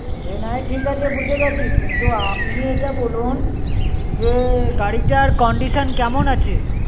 সে না হয় ঠিক আছে বুঝে গেছি, কিন্তু আপনি এটা বলুন, যে গাড়িটার condition কেমন আছে?